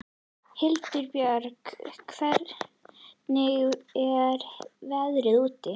Hildibjörg, hvernig er veðrið úti?